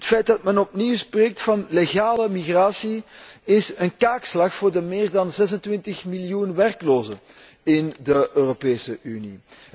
Het feit dat men opnieuw spreekt van legale migratie is een kaakslag voor de meer dan 26miljoen werklozen in de Europese Unie.